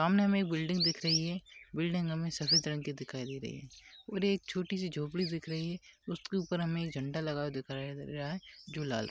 सामने में बिल्डिंग दिख रही है बिल्डिंग हमें सफेद रंग की दिखाई दे रही है और एक छोटी सी झोपड़ी दिख रही है उसके ऊपर हमें झंडा लगा हुअ दिख रहा है जो की लाल--